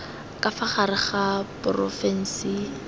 ka fa gare ga porofensi